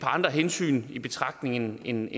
andre hensyn i betragtning end